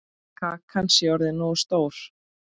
Kakan sé orðin nógu stór.